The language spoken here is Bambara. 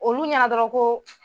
Olu ɲana dɔrɔn ko